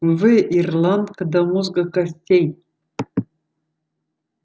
вы ирландка до мозга костей